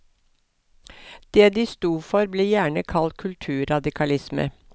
Det de sto for blir gjerne kalt kulturradikalisme.